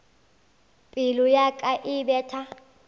pelo ya ka e betha